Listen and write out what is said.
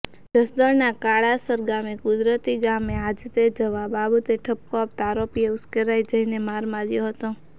જસદણના કાળાસર ગામે કુદરતી ગામે હાજતે જવા બાબતે ઠપકો આપતા આરોપીએ ઉશ્કેરાઇ જઇ મારમાર્યો હતો